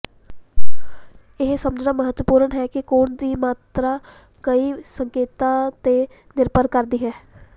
ਇਹ ਸਮਝਣਾ ਮਹੱਤਵਪੂਰਣ ਹੈ ਕਿ ਕੋਣ ਦੀ ਮਾਤਰਾ ਕਈ ਸੰਕੇਤਾਂ ਤੇ ਨਿਰਭਰ ਕਰਦੀ ਹੈ